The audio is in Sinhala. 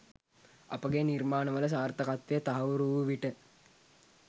අපගේ නිර්මාණවල සාර්ථකත්වය තහවුරු වූ විට